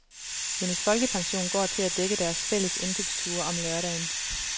Hendes folkepension går til at dække deres fælles indkøbsture om lørdagen.